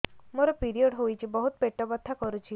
ମୋର ପିରିଅଡ଼ ହୋଇଛି ବହୁତ ପେଟ ବଥା କରୁଛି